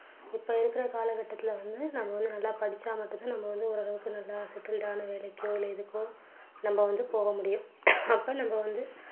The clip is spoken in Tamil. இப்போ இருக்கிற காலகட்டத்தில வந்து நாம வந்து நல்லா படிச்சா மட்டும் தான் நம்ம வந்து ஓரளவுக்கு நல்லா settled ஆன வேலைக்கோ இல்ல இதுக்கோ நம்ம வந்து போக முடியும் அப்போ நம்ம வந்து